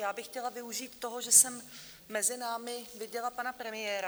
Já bych chtěla využít toho, že jsem mezi námi viděla pana premiéra.